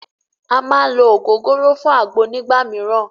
À má ń ló ògógóró fún àgbo nígbà míràn.